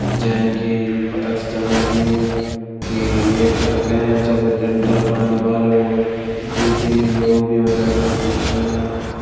जैन की पता छ चलन लगियुं की ये घर कैं जब लिन्टर पड़ण वालो। ये द्वी तीन लोग भी ह्वला यखम दिखेण।